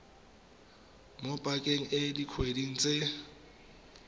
mo pakeng e dikgwedi tse